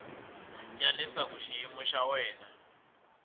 ya leswaku xiyimo xa wena